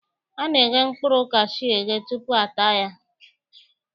A na-eghe mkpụrụ kashuu eghe tutu a taa ya